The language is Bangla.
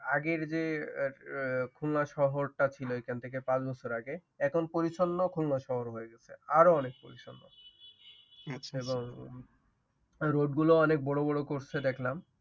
আগের যে খুলনা শহরটা ছিল এখন থেকে পাঁচ বছর আগে এখন পরিচ্ছন্ন খুলনা শহর হয় গেছে আরো অনেক পরিচ্ছন্ন রোডগুলো অনেক বড় বড় করছে দেখলাম